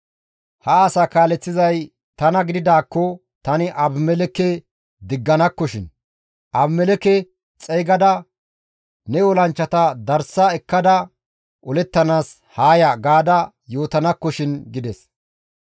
Ha asaa kaaleththizay tana gididaakko tani Abimelekke digganakkoshin. Abimelekke xeygada, ‹Ne olanchchata darsa ekkada olettanaas haa ya› gaada yootanakkoshin!» gides.